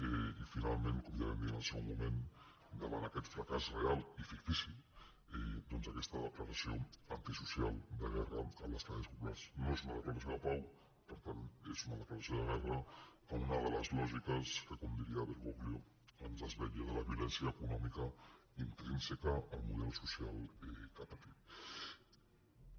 i finalment com ja vam dir en el seu moment davant aquest fracàs real i fictici doncs aquesta declaració antisocial de guerra a les classes populars no és una declaració de pau per tant és una declaració de guerra a una de les lògiques que com diria bergoglio ens desvetlla de la violència econòmica intrínseca al model social que ha patit